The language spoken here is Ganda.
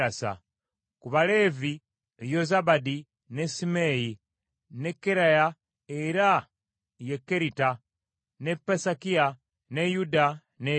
Ku Baleevi: Yozabadi, ne Simeeyi, ne Keraya (era ye Kerita), ne Pesakiya, ne Yuda ne Eryeza.